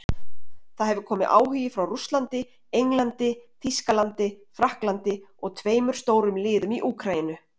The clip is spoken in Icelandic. Það hefur komið áhugi frá Rússlandi, Englandi, Þýskalandi Frakklandi og tveimur stórum liðum í Úkraínu.